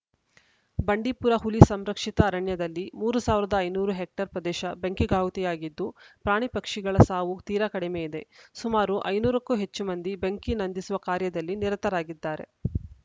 ಬಂಡೀಪುರ ಹುಲಿ ಸಂರಕ್ಷಿತ ಅರಣ್ಯದಲ್ಲಿ ಮೂರ್ ಸಾವಿರದ ಐದುನೂರು ಹೆಕ್ಟರ್‌ ಪ್ರದೇಶ ಬೆಂಕಿಗಾಹುತಿಯಾಗಿದ್ದು ಪ್ರಾಣಿಪಕ್ಷಿಗಳ ಸಾವು ತೀರಾ ಕಡಿಮೆ ಇದೆ ಸುಮಾರು ಐದುನೂರ ಕ್ಕೂ ಹೆಚ್ಚು ಮಂದಿ ಬೆಂಕಿ ನಂದಿಸುವ ಕಾರ್ಯದಲ್ಲಿ ನಿರತರಾಗಿದ್ದಾರೆ